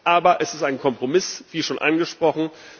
Aber es ist ein Kompromiss wie schon angesprochen.